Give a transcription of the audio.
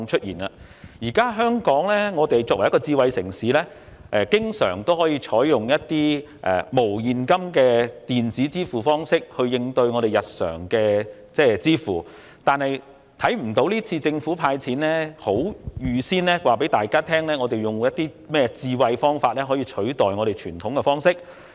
現時，香港作為一個智慧城市，通常可採用一些無現金的電子支付方式作為日常付款安排，但今次卻不見得政府有就派發1萬元一事採取甚麼智慧方式以取代傳統做法。